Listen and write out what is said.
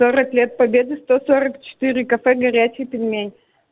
сорок лет победы сто сорок четыре кафе горячий пельмень